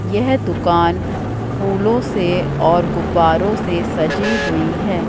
यह दुकान फूलों से और गुब्बारों से सजी हुई है।